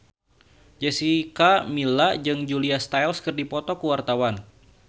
Jessica Milla jeung Julia Stiles keur dipoto ku wartawan